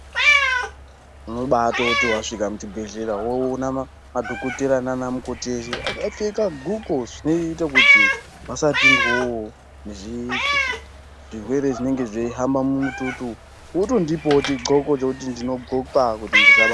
Unobaitoti wasvika mu chibhedhleya woona madhokotera nana mukoti eshe aka pfeeka guko zvinoita kuti vasa pindamwo ne zvirwere zvinenge zveyi hamba mu mututu votondipawo chi ndxoko chekuti ndino ndxoke ndisabatwa.